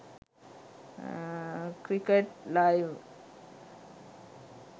cricket live